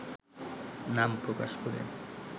নাম প্রকাশ করে